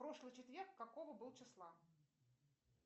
прошлый четверг какого был числа